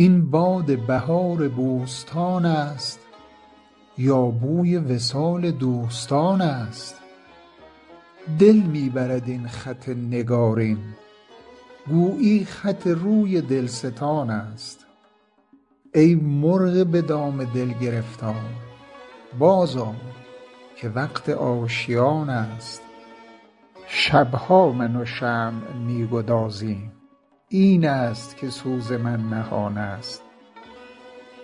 این باد بهار بوستان است یا بوی وصال دوستان است دل می برد این خط نگارین گویی خط روی دلستان است ای مرغ به دام دل گرفتار بازآی که وقت آشیان است شب ها من و شمع می گدازیم این است که سوز من نهان است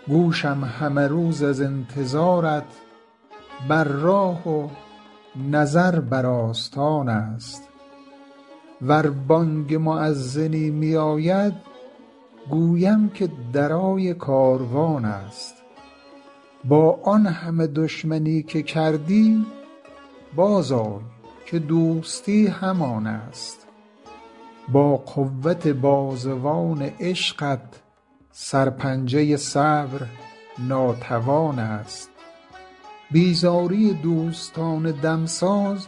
گوشم همه روز از انتظارت بر راه و نظر بر آستان است ور بانگ مؤذنی میاید گویم که درای کاروان است با آن همه دشمنی که کردی بازآی که دوستی همان است با قوت بازوان عشقت سرپنجه صبر ناتوان است بیزاری دوستان دمساز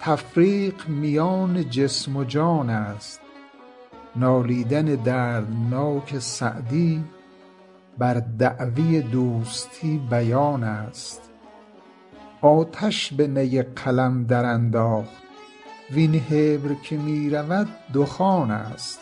تفریق میان جسم و جان است نالیدن دردناک سعدی بر دعوی دوستی بیان است آتش به نی قلم درانداخت وین حبر که می رود دخان است